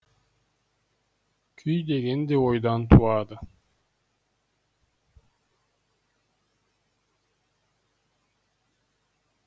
күй деген де ойдан туады